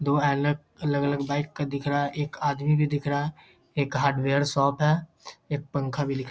दो आलग अलग-अलग बाइक का दिख रहा है। एक आदमी भी दिख रहा है। एक हार्डवेयर शॉप है। एक पंखा भी दिख --